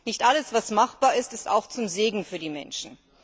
Nicht alles, was machbar ist, ist auch zum Segen für die Menschen.